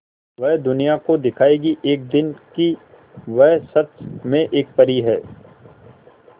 वह दुनिया को दिखाएगी एक दिन कि वह सच में एक परी है